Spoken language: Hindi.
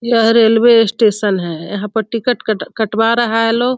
यह रेलवे स्टेशन है | यहाँ पर टिकट कट कटवा रहा है लोग |